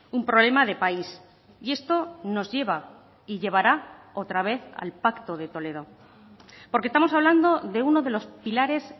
un problema de país y esto nos lleva y llevará otra vez al pacto de toledo porque estamos hablando de uno de los pilares